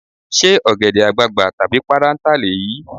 Ṣé ọ̀gẹ̀dẹ̀ àgbagbà tàbí páráǹtà lèyí?